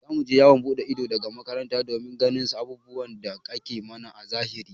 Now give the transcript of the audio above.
Za mu je yawon buɗe ido daga makaranta domin ganin abubuwan da ake mana a zahiri.